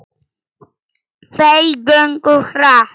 Þeir gengu hratt.